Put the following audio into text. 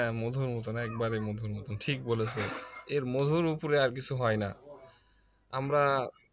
হ্যাঁ মধুর মতন একবারে মধুর মতন ঠিক বলেছো এর মধুর উপরে আর কিছু হয় না আমরা